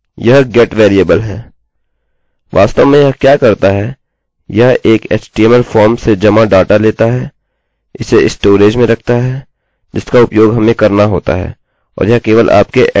वास्तव में यह क्या करता है यह एक html फॉर्म से जमा डाटा लेता है इसे स्टोरेज में रखता है जिसका उपयोग हमें करना होता है और यह केवल आपके ऐड्रेस बार में है